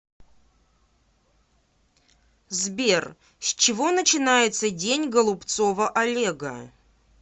сбер с чего начинается день голубцова олега